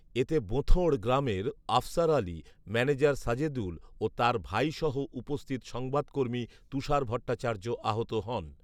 এতে বোঁথড় গ্রামের আফসার আলী, ম্যানেজার সাজেদুল ও তার ভাইসহ উপস্থিত সংবাদকর্মী তুষার ভট্টাচার্য আহত হন